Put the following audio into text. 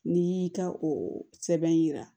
N'i y'i ka o sɛbɛn jira